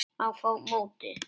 Á móti